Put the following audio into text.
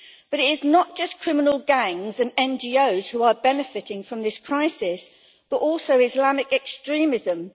It is not just criminal gangs and NGOs who are benefiting from this crisis, but also Islamic extremism.